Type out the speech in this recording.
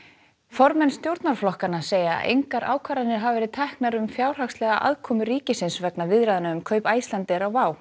formenn stjórnarflokkanna segja engar ákvarðanir hafa verið teknar um fjárhagslega aðkomu ríkisins vegna viðræðna um kaup Icelandair á WOW